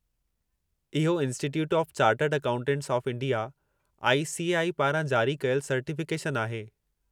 इहो institute of chartered accountants of India (I. C. A. I.) पारां जारी कयलु सर्टिफ़िकेशनु आहे।